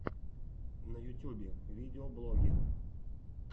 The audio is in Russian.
на ютьюбе видеоблоги